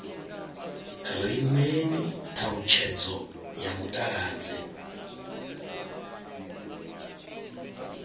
ri ṋeeni ṱhalutshedzo ya mutaladzi